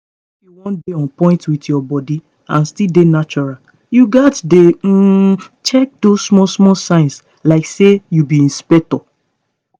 if you wan dey on point with your body and still dey natural you gats dey um check those small small signs like say you be inspector.